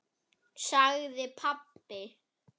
sagði pabbi.